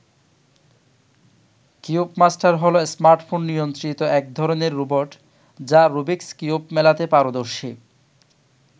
Cubemaster হল smartphone নিয়ন্ত্রিত একধরনের রোবট, যা রুবিকস কিউব মেলাতে পারদর্শী।